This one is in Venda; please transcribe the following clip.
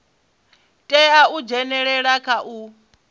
tea u dzhenelela kha u